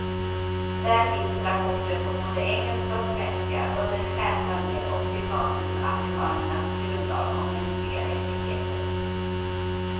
Där finns rapporten på både engelska och svenska, under ett stjärnbanér och citat ur amerikanernas grundlag om mänskliga rättigheter.